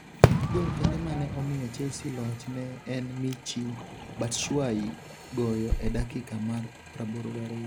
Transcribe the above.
Gol kende mane omiyo Chelsea loch ne en Michy Batshuayi goyo e dakika mar 82.